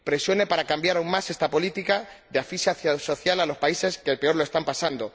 presione para cambiar aún más esta política de asfixia social a los países que peor lo están pasando